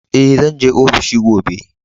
E, zan je ofishi gobe.